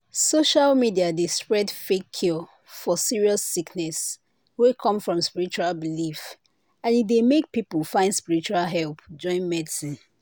social media dey spread fake cure for serious sickness wey come from spiritual belief and e dey make people find spiritual help join medicine.